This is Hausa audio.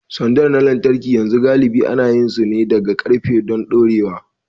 Sanda na lantarki yanzu galibi ana yin su ne daga ƙarfe don dorewa.